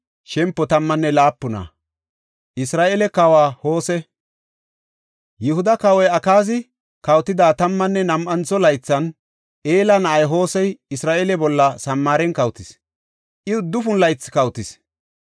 Yihuda kawoy Akaazi kawotida tammanne nam7antho laythan, Ela na7ay Hosey Isra7eele bolla Samaaren kawotis; I uddufun laythi kawotis.